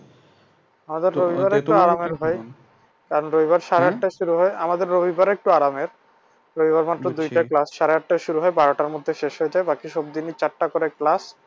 আমাদের রবিবারটা আরামের ভাই কারণ রবিবারে সাড়ে আটটায় শুরু হয় আমাদের রবিবারে একটু আরামের রবিবার মাত্র দুইটা class সাড়ে আটটায় শুরু হয় বারোটার মধ্যে শেষ হয়ে যায় বাকি সব দিনই চারটা করে class